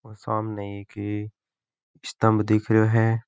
और सामने एक स्तम्ब दिख रयो है।